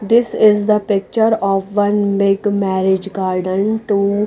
this is the picture of one big marriage card and two--